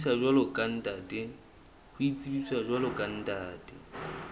ho itsebisa jwalo ka ntate